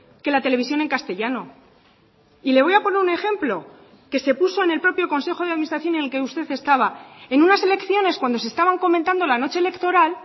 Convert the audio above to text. que la televisión en castellano y le voy a poner un ejemplo que se puso en el propio consejo de administración en el que usted estaba en unas elecciones cuando se estaban comentando la noche electoral